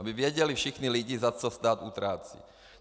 Aby věděli všichni lidi, za co stát utrácí.